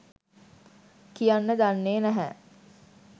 කියන්න දන්නේ නැහැ.